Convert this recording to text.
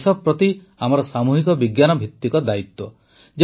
ଏହା ଦେଶ ପ୍ରତି ଆମର ସାମୂହିକ ବିଜ୍ଞାନଭିତ୍ତିକ ଦାୟିତ୍ୱ